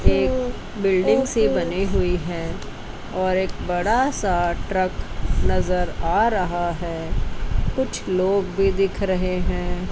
एक बिल्डिंग सी बनी हुई है और एक बड़ा सा ट्रक नजर आ रहा है कुछ लोग भी दिख रहे हैं।